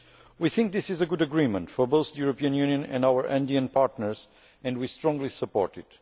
We think this is a good agreement for both the European Union and our Andean partners and we strongly support it.